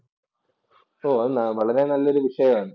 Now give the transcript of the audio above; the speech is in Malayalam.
ഓ അത് വളരെ നല്ലൊരു വിഷയാണ്.